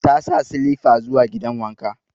Ta sa silifa zuwa gidan wanka.